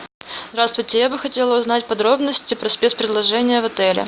здравствуйте я бы хотела узнать подробности про спец предложения в отеле